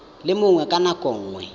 le mongwe ka nako nngwe